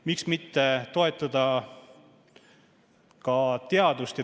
Miks mitte toetada ka teadust.